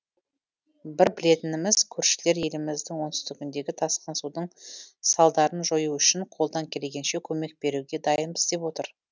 бір білетініміз көршілер еліміздің оңтүстігіндегі тасқын судың салдарын жою үшін қолдан келгенше көмек беруге дайынбыз деп отыр